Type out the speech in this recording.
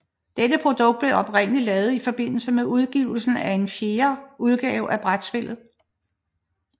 Dette produkt blev oprindeligt lavet i forbindelse med udgivelsen af den fjerde udgave af brætspillet